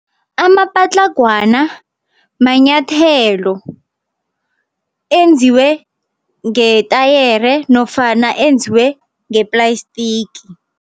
Amapatlagwana manyathelo, enziwe ngetayere nofana enziwe ngeplayistiki.